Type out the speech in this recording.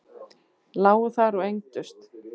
Lágu þar og engdust.